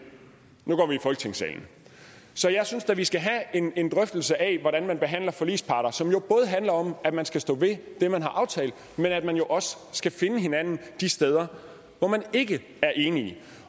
nu går vi i folketingssalen så jeg synes da vi skal have en drøftelse af hvordan man behandler forligsparter som både handler om at man skal stå ved det man har aftalt men at man jo også skal finde hinanden de steder hvor man ikke er enige